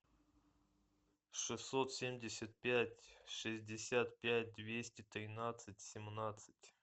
шестьсот семьдесят пять шестьдесят пять двести тринадцать семнадцать